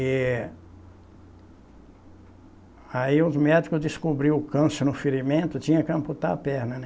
E aí os médicos descobriam o câncer no ferimento, tinha que amputar a perna, né?